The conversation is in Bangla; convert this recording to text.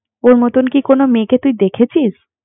ওর মতন কি কোন মেয়েকে তুই দেখেছিস